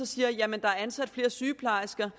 siger at der er ansat flere sygeplejersker